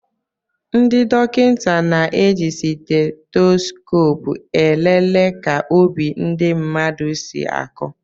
Ndị dokịta na-eji Stetoskopu elele ka obi ndị mmadụ si aku